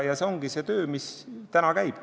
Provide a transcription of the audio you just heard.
See ongi see töö, mis täna käib.